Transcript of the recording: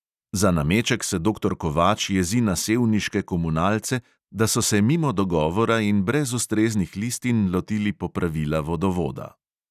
Za nameček se doktor kovač jezi na sevniške komunalce, da so se mimo dogovora in brez ustreznih listin lotili popravila vodovoda.